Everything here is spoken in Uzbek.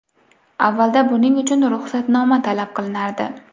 Avvalda buning uchun ruxsatnoma talab qilinardi.